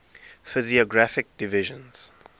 physiographic divisions